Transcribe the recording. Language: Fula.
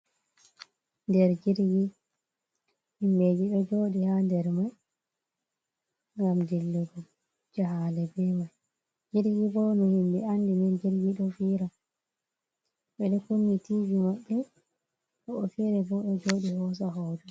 Nder jirgi himɓeji ɗo joɗi ha nder mai gam dillugo jahale be mai, jirgi bo no himɓɓe andi ni jirgi ɗo fira ɓeɗo kuni tv maɓbe woɓɓe fere bo ɗo joɗi hoso hoto.